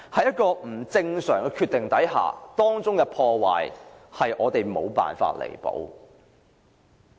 一個不正常的決定，造成的破壞是我們無法彌補的。